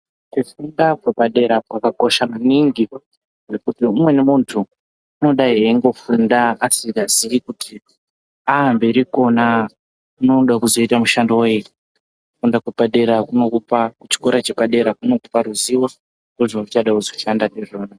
Kufunda kwepadera kwakosha maningi ngekuti umweni muntu unodai eingo funda asingazivi kuti amberi Kona anoda kuzoita mushando weyi chikora chepadera chinokupa ruzivo rwezvauchida kushanda ndizvona.